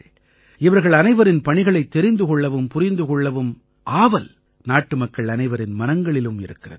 இவர்கள் அனைவரின் பணிகளைத் தெரிந்து கொள்ளவும் புரிந்து கொள்ளவும் ஆவல் நாட்டுமக்கள் அனைவரின் மனங்களிலும் இருக்கிறது